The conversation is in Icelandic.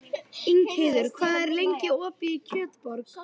Ingheiður, hvað er lengi opið í Kjötborg?